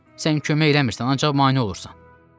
Sən kömək eləmirsən, ancaq mane olursan."